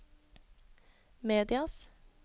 medias